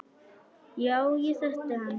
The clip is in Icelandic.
Já, ég þekkti hann.